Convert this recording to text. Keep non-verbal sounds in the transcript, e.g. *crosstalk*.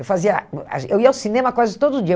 Eu fazia *unintelligible* eu ia ao cinema quase todo dia.